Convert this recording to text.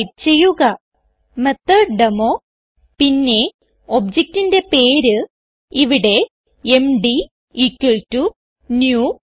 type ചെയ്യുക മെത്തോട്ടേമോ പിന്നെ objectന്റെ പേര് ഇവിടെ എംഡി new